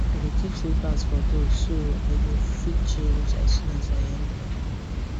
i dey keep slippers for door so i go fit change as soon as i enter